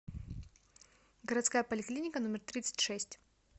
городская поликлиника номер тридцать шесть